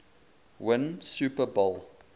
win super bowl